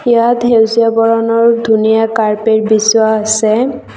ইয়াত সেউজীয়া বৰণৰ ধুনীয়া কাৰ্পেট আছে।